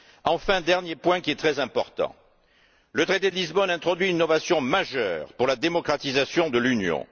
Enfin, dernier point qui est très important, le traité de Lisbonne introduit une innovation majeure pour la démocratisation de l'Union.